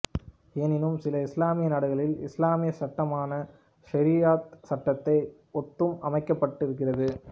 எனினும் சில இஸ்லாமிய நாடுகளில் இஸ்லாமிய சட்டமான ஷரியத் சட்டத்தை ஒத்தும் அமைக்கப்பட்டிகின்றது